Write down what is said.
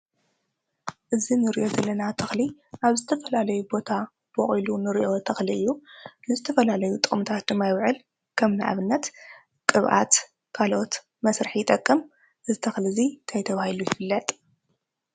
እዚ እንሪኦ ዘለና ተኽሊ ኣብ ዝተፈላለዩ ቦታ ቦቂሉ እንሪኦ ተኽሊ እዩ። ንዝተፈላለዩ ጥቅሚታት ድማ ይውዕል ።ከም ንኣብነት ቅብኣት ካሎኦት መስርሒ ይጠቅም። እዚ ተኽሊ እዚ እንታይ ተባሂሉ ይፍለጥ?